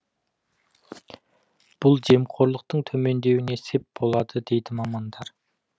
бұл жемқорлықтың төмендеуіне сеп болады дейді мамандар